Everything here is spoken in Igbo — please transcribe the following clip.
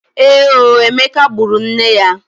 Èé o! Emeka gburu nne ya.